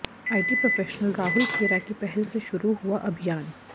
IT professional Rahul Khera की पहल से शुरू हुआ अभियान